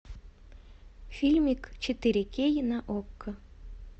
фильмик четыре кей на окко